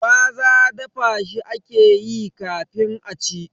Gwaza dafa shi akeyi kafin a ci